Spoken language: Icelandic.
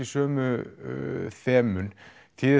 sömu þemun þýðir